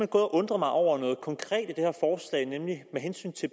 gået og undret mig over noget konkret i det